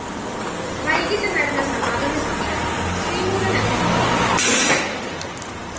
വൈകിട്ട് നടന്ന സമാപന സമ്മേളനം ശ്രീമൂലനഗരം മോഹനന്‍ ഉദ്ഘാടനം ചെയ്തു